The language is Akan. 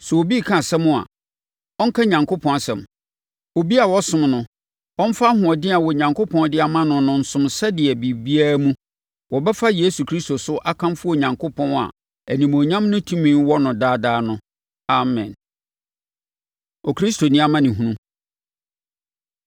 Sɛ obi reka asɛm a, ɔnka Onyankopɔn asɛm. Obiara a ɔsom no, ɔmfa ahoɔden a Onyankopɔn de ama no no nsom sɛdeɛ biribiara mu, wɔbɛfa Yesu Kristo so akamfo Onyankopɔn a animuonyam ne tumi wɔ no daadaa no. Amen. Okristoni Amanehunu